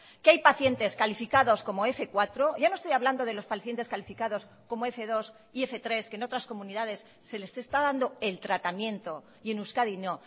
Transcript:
que hay pacientes calificados como f cuatro ya no estoy hablando de los pacientes calificados como f dos y f tres que en otras comunidades se les está dando el tratamiento y en euskadi no